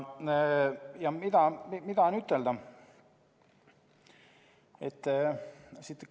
Ja mida ütelda?